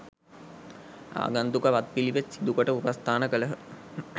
ආගන්තුක වත් පිළිවෙත් සිදුකොට උපස්ථාන කළහ.